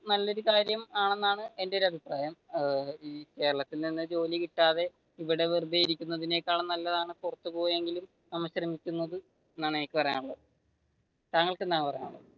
നല്ലൊരു കാര്യമാണെന്നാണ് എന്റെ ഒരു അഭിപ്രായം കേരളത്തിൽ നിന്ന് ജോലി കിട്ടാതെ ഇവിടെ വെറുതെയിരിക്കുന്നതിനെക്കാളും നല്ലതാണു പുറത്തു പോയെങ്കിലും നമ്മൾ ശ്രമിക്കുന്നത് എന്നാണ് എനിക്ക് പറയാനുള്ളത് താങ്കൾക്ക് എന്താണ് പറയാനുള്ളത്.